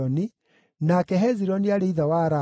nake Hezironi aarĩ ithe wa Ramu,